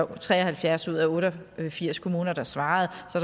der tre og halvfjerds ud af otte og firs kommuner der svarede